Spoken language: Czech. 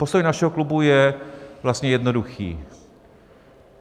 Postoj našeho klubu je vlastně jednoduchý.